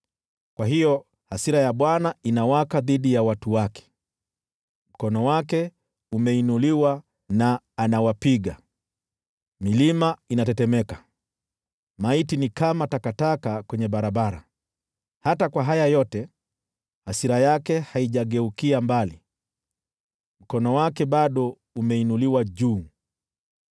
Kwa hiyo hasira ya Bwana inawaka dhidi ya watu wake, mkono wake umeinuliwa na anawapiga. Milima inatetemeka, maiti ni kama takataka kwenye barabara. Hata kwa haya yote, hasira yake haijageukia mbali, mkono wake bado umeinuliwa juu.